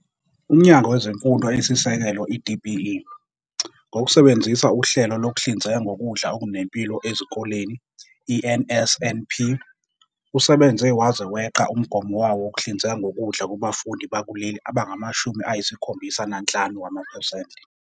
UMnyango Wezemfundo Eyisisekelo, i-DBE, ngokusebenzisa uHlelo Lokuhlinzeka Ngokudla Okunempilo Ezikoleni, i-NSNP, usebenze waze weqa umgomo wawo wokuhlinzeka ngokudla kubafundi bakuleli abangama-75 wamaphesenti.